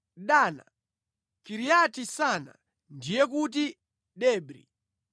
Dana, Kiriati-Sana, (ndiye kuti Debri)